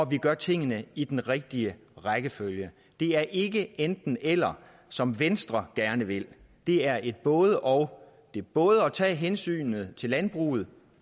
vi gør tingene i den rigtige rækkefølge det er ikke et enten eller som venstre gerne vil det er et både og det er både at tage hensynet til landbruget